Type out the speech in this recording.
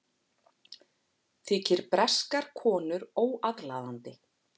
Þykir breskar konur óaðlaðandi